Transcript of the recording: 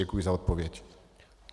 Děkuji za odpověď.